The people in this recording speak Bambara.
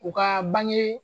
U ka bange